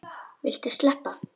Viltu sleppa!